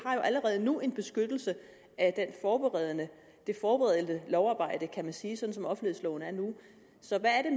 allerede nu en beskyttelse af det forberedende lovarbejde kan man sige sådan som offentlighedsloven er nu så hvad er